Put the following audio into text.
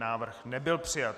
Návrh nebyl přijat.